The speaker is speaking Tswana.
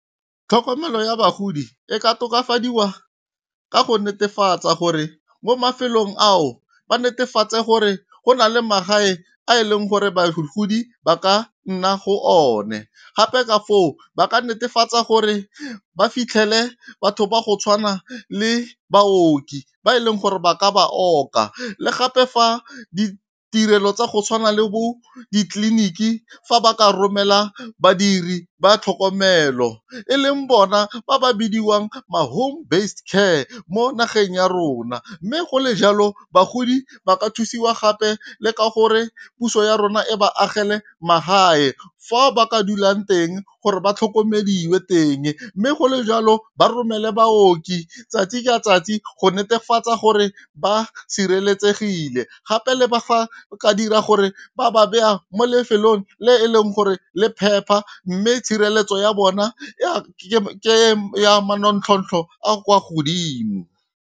Tlhokomelo ya bagodi e ka tokafadiwa ka go netefatsa gore mo mafelong ao ba netefatse gore go na le magae a e leng gore bagodi ba ka nna go one. Gape ka foo ba ka netefatsa gore ba fitlhele batho ba go tshwana le baoki ba e leng gore ba ka ba oka. Le gape fa ditirelo tsa go tshwana le bo ditleliniki fa ba ka romela badiri ba tlhokomelo, e leng bona ba ba bidiwang ma home based care mo nageng ya rona. Mme go le jalo bagodi ba ka thusiwa gape le ka gore puso ya rona e ba agele magae, fa ba ka dulang teng gore ba tlhokomediwe teng. Mme go le jalo ba romele baoki tsatsi ka tsatsi go netefatsa gore ba sireletsegile, gape le ba ka dira gore ba ba beya mo lefelong le e leng gore le phepa, mme tshireletso ya bona ke ya manontlhotlho a kwa godimo.